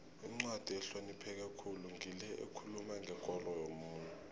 incwadi ehlonipheke khulu ngile ekhuluma ngekolo yomuntu